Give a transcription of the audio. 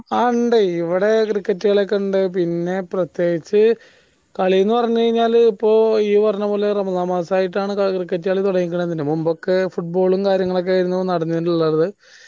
ആ ഇണ്ട്യ്യ് യിവിടെ cricket കളിയൊക്കെ ഇണ്ട് പിന്നേ പ്രത്യേകിച്ച് കളി എന്ന് പറയുമ്പോൾ ഇപ്പൊ ഇയ്യ്‌ പറഞ്ഞ പോലെ റമദാൻ മാസായിട്ടാണ് cricket കളി തൊടങ്ങീക്കണ തന്നെ മുമ്പൊക്കെ football ഉം കാര്യങ്ങളുമൊക്കെയായിരുന്നു നടന്നിരുന്നുള്ളത്